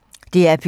DR P2